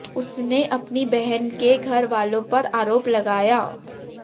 उसने अपनी बहन के घर वालों पर आरोप लगाया